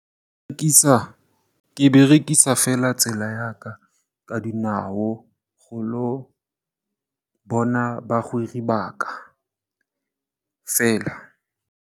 Ke berekisa fela tsela ya ka ka dinao go ilo bona bagwera ba ka fela.